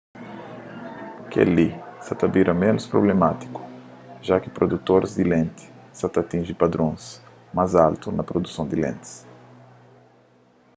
kel-li sa ta bira ménus prublemátiku ja ki produtoris di lenti sa ta atinji padron más altu na produson di lentis